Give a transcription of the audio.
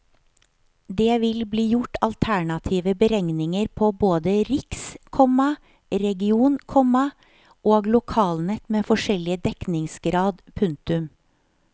Det vil bli gjort alternative beregninger på både riks, komma region, komma og lokalnett med forskjellige dekningsgrad. punktum